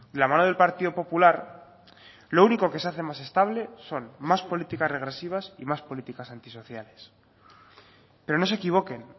la mano del partido popular lo único que se hace más estable son más políticas regresivas y más políticas antisociales pero no se equivoquen